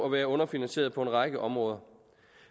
være underfinansieret på en række områder